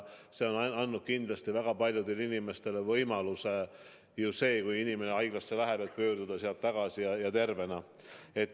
See on andnud väga paljudele inimestele võimaluse pärast haiglasse sattumist pöörduda sealt tagasi tervena.